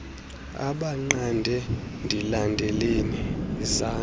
abanqande ndilandeleni yizani